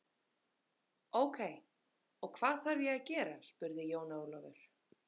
Ókei, og hvað þarf ég að gera spurði Jón Ólafur.